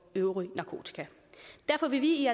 øvrige narkotika derfor vil vi i